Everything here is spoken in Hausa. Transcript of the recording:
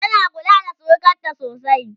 tana kula da surukanta sosai?